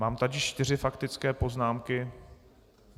Mám tady čtyři faktické poznámky.